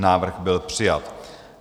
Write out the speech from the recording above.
Návrh byl přijat.